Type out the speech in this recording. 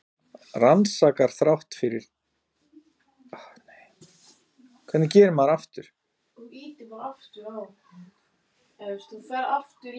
Rannsakar þátt endurskoðenda